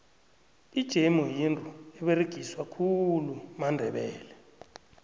ijemu yinto eberegiswa khulu mandebele